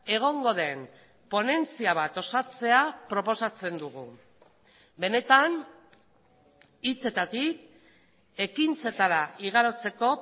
egongo den ponentzia bat osatzea proposatzen dugu benetan hitzetatik ekintzetara igarotzeko